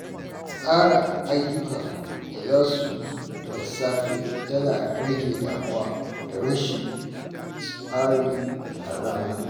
Tsara ayyukan da zaka yi da safe yana rage damuwa da rashin tsari a rana.